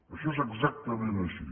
això és exactament així